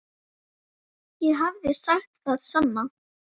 Ég hefði sagt það sama.